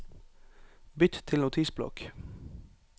Bytt til Notisblokk